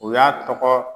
U y'a tɔgɔ